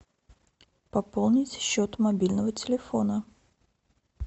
пополнить счет мобильного телефона